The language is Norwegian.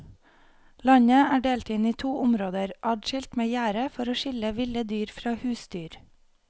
Landet er delt inn i to områder adskilt med gjerde for å skille ville dyr fra husdyr.